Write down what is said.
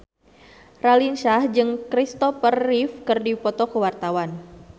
Raline Shah jeung Christopher Reeve keur dipoto ku wartawan